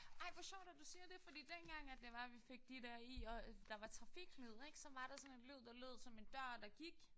Ej hvor sjovt at du siger det fordi dengang at det var vi fik de der i og der var trafiklyd ik så var der sådan en lyd der lød som en dør der gik